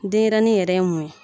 Denyɛrɛnin yɛrɛ ye mun ye ?